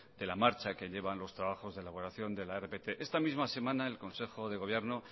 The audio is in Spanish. de la marcha que llevan los trabajos de elaboración de la rpt esta misma semana en el consejo de gobierno